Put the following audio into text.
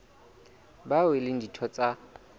bao e leng ditho tsa